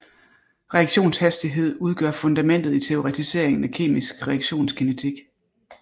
Reaktionshastighed udgør fundamentet i teoretiseringen af kemisk reaktionskinetik